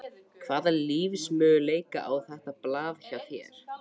Hvaða lífsmöguleika á þetta blað hjá þér?